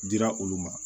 Dira olu ma